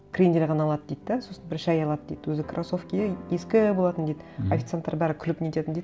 крендель ғана алады дейді де сосын бір шәй алады дейді өзі кроссовкиі ескі болатын дейді мхм официанттар бәрі күліп нететін дейді